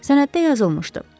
Sənəddə yazılmışdı: